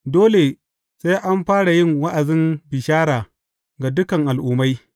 Dole sai an fara yin wa’azin bishara ga dukan al’ummai.